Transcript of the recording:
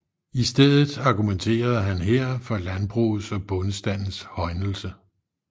I stedet argumenterede han her for landbrugets og bondestandens højnelse